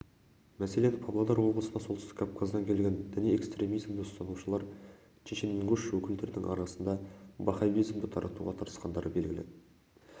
мәселен павлодар облысына солтүстік кавказдан келген діни экстремизмді ұстанушылар чешенингуш өкілдерінің арасында ваххабизмді таратуға тырысқандары белгілі